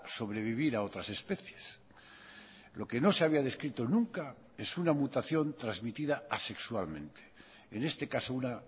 sobrevivir a otras especies lo que no se había descrito nunca es una mutación transmitida asexualmente en este caso una